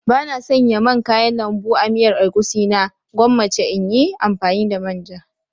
Bana sanya man kayan lambu a miyar egusi na gwammace in yi amfani da manja.